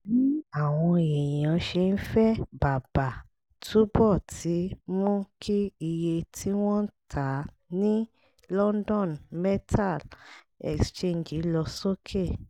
bí àwọn èèyàn ṣe ń fẹ́ bàbà túbọ̀ ti mú kí iye tí wọ́n ń ta ní london metal exchange lọ sókè